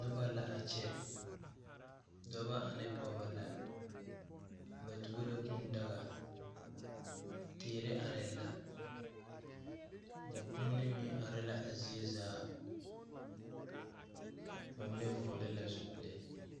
Nobɔ la a kyɛ dɔbɔ ane pɔɔbɔ la ba tuo la kūū daga teere arɛɛ la mɔ kuoni meŋ are la a zie zaa ba mine vɔgle la zupile.